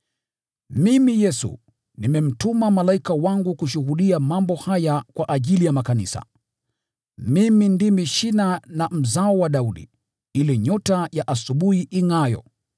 “Mimi, Yesu, nimemtuma malaika wangu kushuhudia mambo haya kwa ajili ya makanisa. Mimi ndimi Shina na Mzao wa Daudi, ile Nyota ya Asubuhi ingʼaayo.”